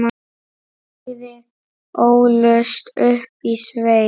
Bæði ólust upp í sveit.